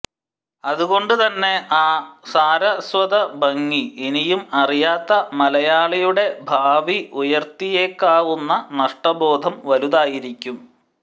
അതുകൊണ്ട് തന്നെ ആ സാരസ്വതഭംഗി ഇനിയും അറിയാത്ത മലയാളിയുടെ ഭാവി ഉണർത്തിയേക്കാവുന്ന നഷ്ടബോധം വലുതായിരിക്കും